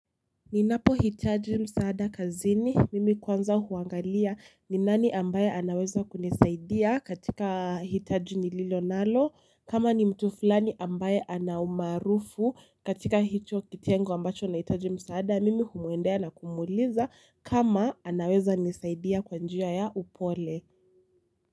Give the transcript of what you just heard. Ninapohitaji msaada kazini mimi kwanza huangalia ni nani ambaye anaweza kunisaidia katika hitaji nililo nalo. Kama ni mtu fulani ambaye ana umaarufu katika hicho kitengo ambacho ninahitaji msaada, mimi humwendea na kumuuliza kama anaweza kunisaidia kwa njia ya upole.